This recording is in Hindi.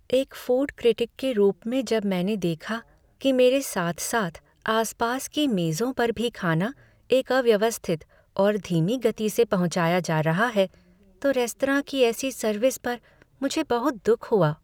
एक फूड क्रिटिक के रूप में जब मैंने देखा कि मेरे साथ साथ आसपास की मेजों पर भी खाना एक अव्यवस्थित और धीमी गति से पहुंचाया जा रहा है तो रेस्तरां की ऐसी सर्विस पर मुझे बहुत दुख हुआ।